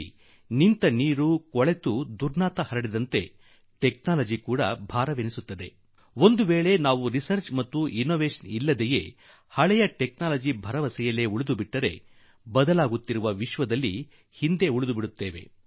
ದಾದರೆ ಅಗ ತಂತ್ರಜ್ಞಾನ ನಿಂತ ನೀರು ಹರಡುವ ಗಲೀಜಿನಂತೆ ಹೊರೆಯಾಗಿ ಬಿಡುತ್ತದೆ ಮತ್ತು ನಾವು ಸಂಶೋಧನೆ ಮತ್ತು ಅನ್ವೇಷಣೆ ಬಿಟ್ಟು ಹಳೆಯ ತಂತ್ರಜ್ಞಾನವನ್ನೇ ನಂಬಿ ಬದುಕಿದರೆ ಆಗ ನಾವು ವಿಶ್ವದಲ್ಲಿ ಬದಲಾಗುತ್ತಿರುವ ಯುಗದಲ್ಲಿ ಹಳಬರಾಗಿ ಉಳಿದು ಬಿಡುತ್ತೇವೆ